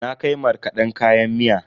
Na kai markaden kayan miya.